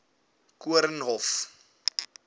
koornhof